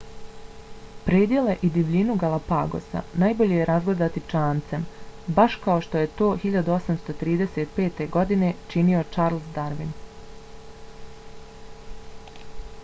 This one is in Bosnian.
predjele i divljinu galapagosa najbolje je razgledati čamcem baš kao što je to 1835. godine činio charles darwin